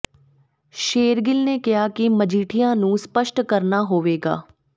ਸ਼ੇਰਗਿੱਲ ਨੇ ਕਿਹਾ ਕਿ ਮਜੀਠੀਆ ਨੂੰ ਸਪੱਸ਼ਟ ਕਰਨਾ ਹੋਵੇਗਾ